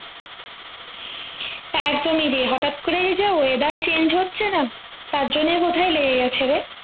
একদম ই রে হঠাৎ করে এইযে weather change হচ্ছে না তার জন্যেই বোধ হয় লেগে গেছে রে